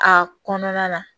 A kɔnɔna na